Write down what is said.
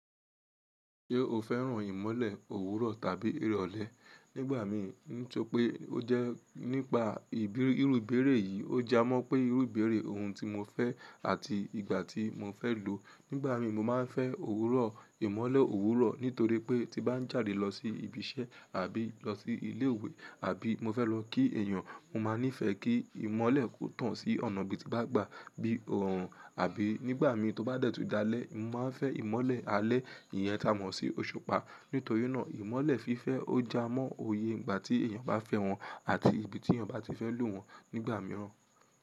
Ṣé o fẹ́ràn ìmọ́lẹ̀ òwúrọ̀ tàbí irọ̀lẹ? Nígbà mi n so pé ó jẹ́ nípa ìbí irú ibeere yìí, ó ja mọ́ pé irú ibeere ohun tí mo fẹ́ àti ìgbà tí mo fẹ́ lò ó. Nígbà mi mo máa ń fẹ́ òwúrọ̀, ìmọ́lẹ̀ òwúrọ̀ nítorí pé tí bá ń jáde lọ sí ibi iṣẹ́ àbí lọ sí ilé ìwé àbí mo fẹ́ lọ kí èèyàn, mo máa nífẹ̀ẹ́ kí ìmọ́lẹ̀ kó tàn sí ọ̀nà ibi tí mo bá gba bí i ọ̀run. Àbí nígbà mi tó bá dẹ̀tú dalẹ́, mo máa ń fẹ́ ìmọ́lẹ̀ alẹ́ yẹn ta mọ́ sí òṣùpá. Nítorí náà ìmọ́lẹ̀ fífẹ́ ó ja mọ́ òye ìgbà tí èèyàn bá fẹ́ wọn àti ibi tí èèyàn bá ti fẹ́ lò wọ́n nígbà mìíràn.